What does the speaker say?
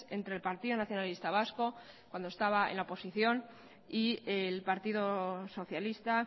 entre el partido nacionalista vasco cuando estaba en la oposición y el partido socialista